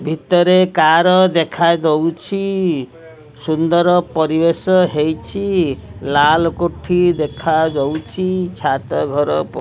ଭିତରେ କାର ଦେଖାଦଉଛି ସୁନ୍ଦର ପରିବେଶ ହେଇଛି ଲାଲ କୋଠି ଦେଖାଯାଉଛି ଛାତ ଘର --